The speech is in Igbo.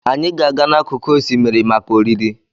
Anyị ga-aga n'akụkụ osimiri maka oriri.